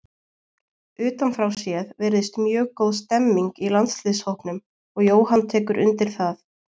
Utan frá séð virðist mjög góð stemning í landsliðshópnum og Jóhann tekur undir það.